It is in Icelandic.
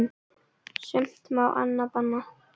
Sumt má, annað er bannað.